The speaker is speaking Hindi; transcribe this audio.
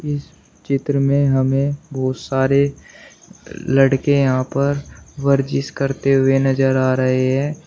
इस चित्र में हमें बहोत सारे लड़के यहां पर करते नजर आ रहे हैं।